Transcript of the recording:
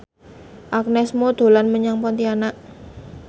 Agnes Mo dolan menyang Pontianak